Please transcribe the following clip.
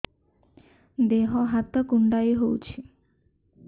ଦେହ ହାତ କୁଣ୍ଡାଇ ହଉଛି